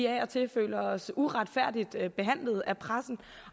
af og til føler os uretfærdigt behandlet af pressen